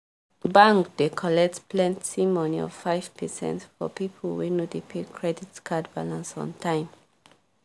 bank dey collect plenty money of 5 percent for people wey no pay credit card balnace on time